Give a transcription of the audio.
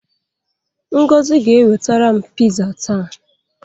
Ngozi ga-ewetara m piza taa.